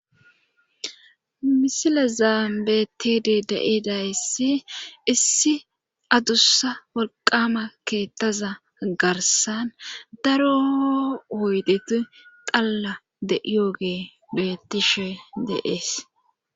misile zaambetidi de7edayssi issi adussa wolqama keettaza garsan daro woydeti xalla de7yooge bettishe de7ees